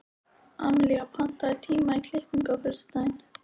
Emelía, pantaðu tíma í klippingu á föstudaginn.